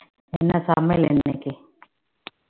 என்ன சமையல் இன்னைக்கு